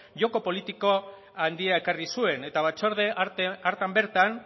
joko politiko handia ekarri zuen eta batzorde hartan bertan